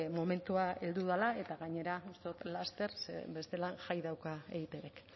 momentua heldu dela eta gainera laster bestela jai dauka eitbk